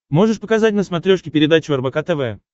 можешь показать на смотрешке передачу рбк тв